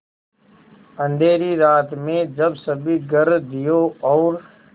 अँधेरी रात में जब सभी घर दियों और